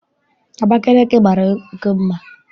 Abakaliki mara oké mma.